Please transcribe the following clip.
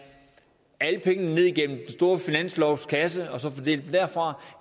alle pengene ned igennem den store finanslovskasse og så fordele dem derfra